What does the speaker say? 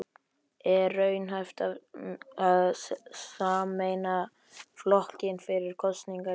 Er raunhæft að sameina flokkinn fyrir kosningar í haust?